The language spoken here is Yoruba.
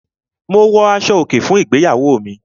Mo wọ aṣọ-òkè fún ìgbéyàwó mi.